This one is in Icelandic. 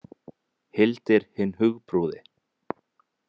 Hildir hinn hugprúði.